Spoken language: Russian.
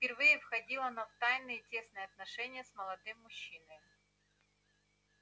впервые входила она в тайные тесные сношения с молодым мужчиною